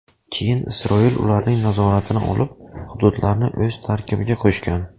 Keyin Isroil ularning nazoratini olib, hududlarni o‘z tarkibiga qo‘shgan.